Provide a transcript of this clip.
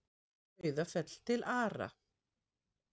Og Sauðafell til Ara.